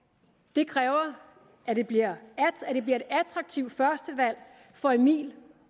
det kræver at det bliver et attraktivt førstevalg for emil